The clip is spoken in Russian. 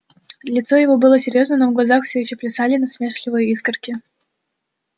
лицо его было серьёзно но в глазах все ещё плясали насмешливые искорки